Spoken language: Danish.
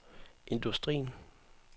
industrien